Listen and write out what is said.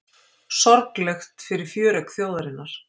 Sorglegt fyrir fjöregg þjóðarinnar